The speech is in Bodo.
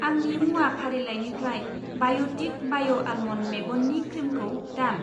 आंनि मुवा फारिलाइनिफ्राय बाय'टिक बाय' आल्मन्ड मेगननि क्रिमखौ दान।